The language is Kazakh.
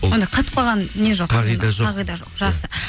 ондай қатып қалған не жоқ қағида жоқ қағида жоқ жақсы